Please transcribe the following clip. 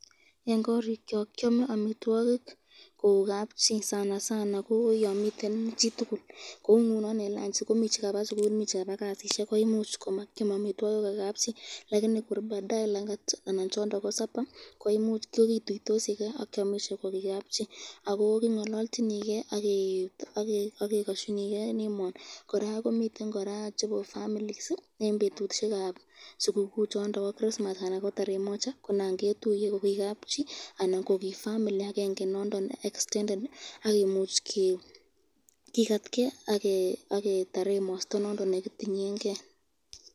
Eng korikyok kwame amitwokik kou kabchi, sanasana ko yon miten chitukul kou eng lanchi chekokaba sukul, kasisyek koimuch komakyam amitwokik ko kabchi lakini kor baadaye langati anan chondon ko sapa kokituitosiken akyomisye kokikapchi ako kingalalchiniken ake kasyini ken emoo.